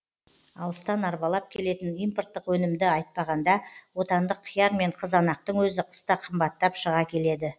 алыстан арбалап келетін импорттық өнімді айтпағанда отандық қияр мен қызанақтың өзі қыста қымбаттап шыға келеді